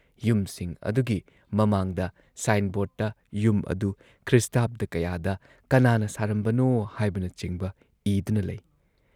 ꯌꯨꯝꯁꯤꯡ ꯑꯗꯨꯒꯤ ꯃꯃꯥꯡꯗ ꯁꯥꯏꯟ ꯕꯣꯔꯗꯇ ꯌꯨꯝ ꯑꯗꯨ ꯈ꯭ꯔꯤꯁꯇꯥꯕꯗ ꯀꯌꯥꯗ ꯀꯅꯥꯅ ꯁꯥꯔꯝꯕꯅꯣ ꯍꯥꯏꯕꯅꯆꯤꯡꯕ ꯏꯗꯨꯅ ꯂꯩ ꯫